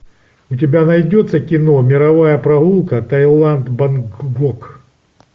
у тебя найдется кино мировая прогулка таиланд бангкок